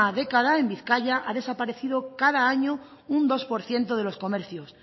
década en bizkaia ha desaparecido cada año un dos por ciento de los comercios